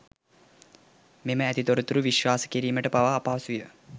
මෙම ඇති තොරතුරු විශවාස කීරීමට පවා අපහසුය.